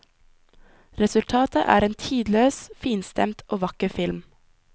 Resultatet er en tidløs, finstemt og vakker film.